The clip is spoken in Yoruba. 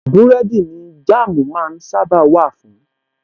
Búrẹ́dì ni Jáàmú máa ń sábàa wà fun